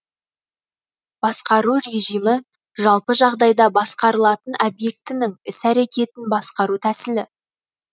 басқару режімі жалпы жағдайда басқарылатын объектінің іс әрекетін басқару тәсілі